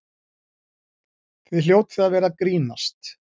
Þið hljótið að vera að grínast!